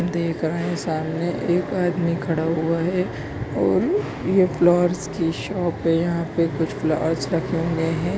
देख रहे हैं सामने एक आदमी खड़ा हुआ है ये फ्लावर्स की शॉप है यहा पे कुछ फ्लावर्स रखे हुए हैं।